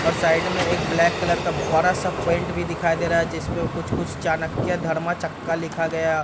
और साइड में एक ब्लैक कलर का बड़ा-सा भी दिखाई दे रहा है जिसपे कुछ-कुछ चाणक्या धर्मा चक्का लिखा गया।